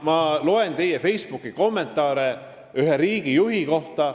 Ma olen lugenud teie Facebooki kommentaare ühe riigijuhi kohta.